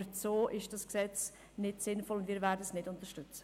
Aber so ist das Gesetz nicht sinnvoll, und wir werden es nicht unterstützen.